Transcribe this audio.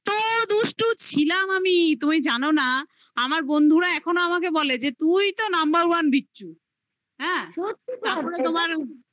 দুষ্টু ছিলাম আমি তুমি জানো না আমার বন্ধুরা এখনো আমাকে বলে যে তুই তো number one বিচ্ছু হ্যাঁ তারপরে তোমার